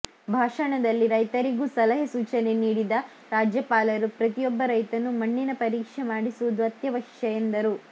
ಭಾಷಣದಲ್ಲಿ ರೈತರಿಗೂ ಸಲಹೆ ಸೂಚನೆ ನೀಡಿದ ರಾಜ್ಯಪಾಲರು ಪ್ರತಿಯೊಬ್ಬ ರೈತನೂ ಮಣ್ಣಿನ ಪರೀಕ್ಷೆ ಮಾಡಿಸುವುದು ಅತ್ಯವಶ್ಯ ಎಂದರು